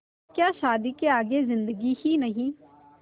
क्या शादी के आगे ज़िन्दगी ही नहीं